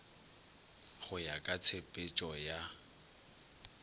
go ya ka tshepetšo ya